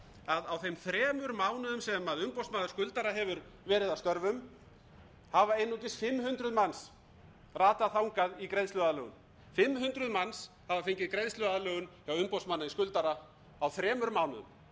að á þeim þremur mánuðum sem umboðsmaður skuldara hefur verið að störfum hafa einungis fimm hundruð manns ratað þangað í greiðsluaðlögun fimm hundruð manns hafa fengið greiðsluaðlögun hjá umboðsmanni skuldara á þremur mánuðum